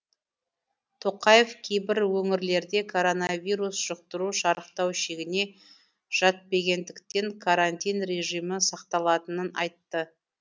тоқаев кейбір өңірлерде коронавирус жұқтыру шарықтау шегіне жатпегендіктен карантин режимі сақталатынын айтты